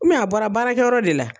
U mɛ a bɔra baarakɛ yɔrɔ de la.